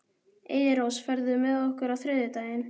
Eyrós, ferð þú með okkur á þriðjudaginn?